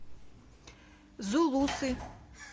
зулусы